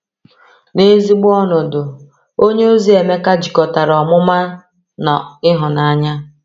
N’ezigbo ọnọdụ, onyeozi Emeka jikọtara ọmụma na ịhụnanya.